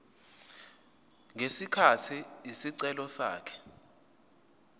ngesikhathi isicelo sakhe